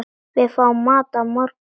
Við fáum mat að morgni.